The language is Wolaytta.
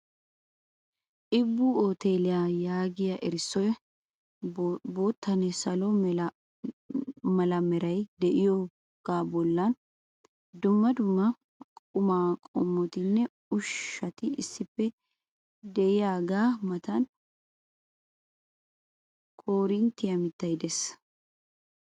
Ibbu uteelliya yaagiyaa erissoy boottanne salo mala meray de'iyooga bollan dumma dumma qumaa qommottinne ushshati issippe diyaga matan koriinttiya mittay de'ees.